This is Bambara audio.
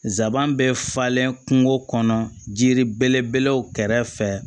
Zaban bɛ falen kungo kɔnɔ jiri belebelew kɛrɛfɛ